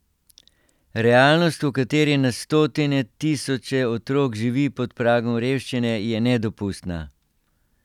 Realnost, v kateri na stotine tisoče otrok živi pod pragom revščine, je nedopustna.